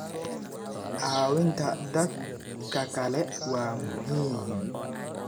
Caawinta dadka kale waa muhiim.